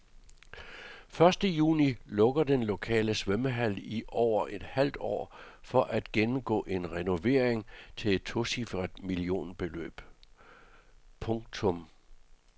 Første juni lukker den lokale svømmehal i over et halvt år for at gennemgå en renovering til et tocifret millionbeløb. punktum